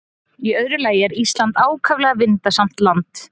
Í öðru lagi er Ísland ákaflega vindasamt land.